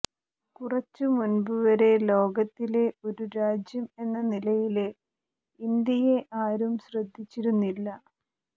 കുറച്ചു മുന്പുവരെ ലോകത്തിലെ ഒരു രാജ്യം എന്ന നിലയില് ഇന്ത്യയെ ആരും ശ്രദ്ധിച്ചിരുന്നില്ല